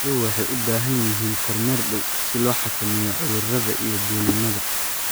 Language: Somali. Xooluhu waxay u baahan yihiin kormeer dhow si loo xakameeyo cudurrada iyo dulinnada.